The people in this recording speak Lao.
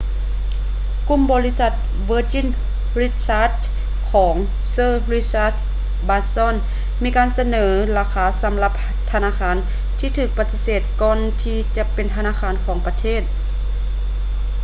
ກຸ່ມບໍລິສັດ virgin richard ຂອງ sir richard branson ມີການສະເໜີລາຄາສຳລັບທະນາຄານທີ່ຖືກປະຕິເສດກ່ອນທີຈະເປັນທະນາຄານຂອງປະເທດ